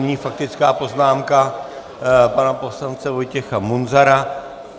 Nyní faktická poznámka pana poslance Vojtěcha Munzara.